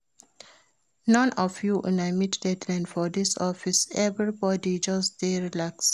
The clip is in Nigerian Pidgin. None of una dey meet deadline for dis office, everybody just dey relax